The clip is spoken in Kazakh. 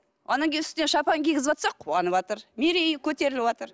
одан кейін үстіне шапан кигізіватса қуаныватыр мерейі көтеріліватыр